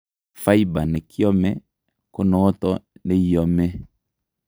Fiber nekiomee ko noton neiomee